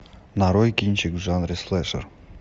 нарой кинчик в жанре слэшер